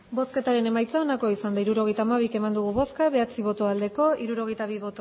hirurogeita hamabi eman dugu bozka bederatzi bai hirurogeita bi